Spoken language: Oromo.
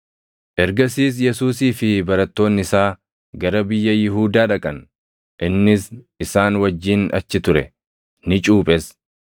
Ergasiis Yesuusii fi barattoonni isaa gara biyya Yihuudaa dhaqan; innis isaan wajjin achi ture; ni cuuphes.